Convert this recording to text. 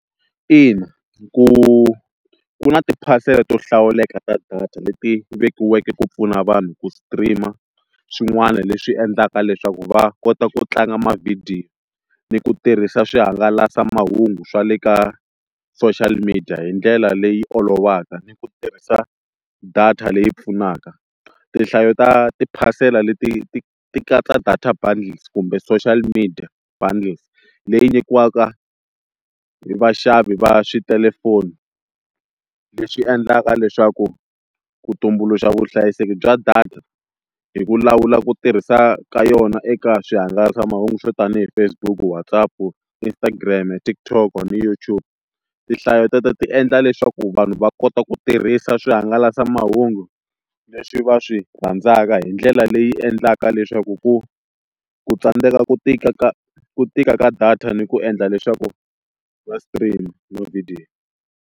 Ina ku ku na tiphasela to hlawuleka ta data leti vekiweke ku pfuna vanhu ku stream-a swin'wana leswi endlaka leswaku va kota ku tlanga mavhidiyo ni ku tirhisa swihangalasamahungu swa le ka social media hi ndlela leyi olovaka ni ku tirhisa data leyi pfunaka, tinhlayo ta tiphasela leti ti ti katsa data bundles kumbe social media bundles leyi nyikiwaka vaxavi va switelefoni leswi endlaka leswaku ku tumbuluxa vuhlayiseki bya data hi ku lawula ku tirhisa ka yona eka swihangalasamahungu swo tanihi Facebook, WhatsApp, Instagram, TikTok na YouTube tinhlayo te to ti endla leswaku vanhu va kota ku tirhisa swihangalasamahungu leswi va swi rhandzaka hi ndlela leyi endlaka leswaku ku ku tsandzeka ku tika ka ku tika ka data ni ku endla leswaku va stream mavhidiyo.